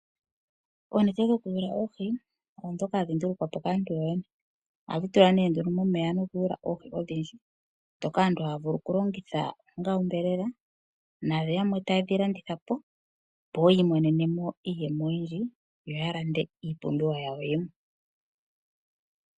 Onete dhoku tega oohi odhoka hadhi ndulukwapo kaantu. Ohadhi tulwa ne nduno momeya noku yula oohi odhindji. Dhoka aantu haya vulu oku longitha onga onyama na yamwe taye dhi landitha po opo yi imonene mo iiyemo oyindji yaka landithe iipumbiwa yawo yimwe.